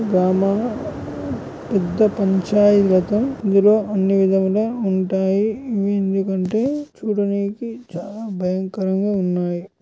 గ్రామ-మా పెద్ద పంచాయితీ లా నిర్వాహణ విధులు ఎందుకంటె చూడడానికి చాలా బయంకారం గా ఉంటుంది.